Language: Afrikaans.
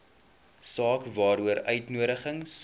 saak waaroor uitnodigings